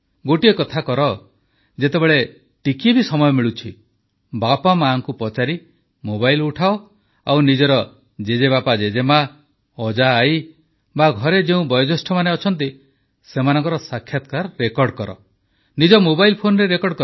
ଗୋଟିଏ କଥା କର ଯେତେବେଳେ ଟିକିଏ ବି ସମୟ ମିଳୁଛି ବାପାମାଆଙ୍କୁ ପଚାରି ମୋବାଇଲ୍ ଉଠାଅ ଆଉ ନିଜର ଜେଜେବାପାଜେଜେମା ଅଜାଆଈ ବା ଘରେ ଯେଉଁ ବୟୋଜ୍ୟେଷ୍ଠମାନେ ଅଛନ୍ତି ସେମାନଙ୍କର ସାକ୍ଷାତକାର ରେକର୍ଡ କର ନିଜ ମୋବାଇଲ୍ ଫୋନରେ ରେକର୍ଡ କର